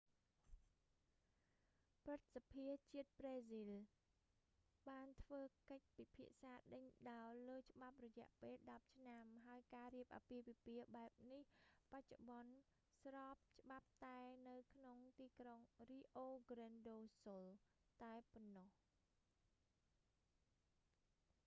ព្រឹទ្ធសភាជាតិប្រេស៊ីល បានធ្វើកិច្ចពិភាក្សាដេញដោលលើច្បាប់រយៈពេល 10 ឆ្នាំ ហើយការរៀបអាពាហ៍ពិពាហ៍បែបនេះ បច្ចុប្បន្នស្របច្បាប់តែនៅក្នុងទីក្រុង rio grande do sul តែប៉ុណ្ណោះ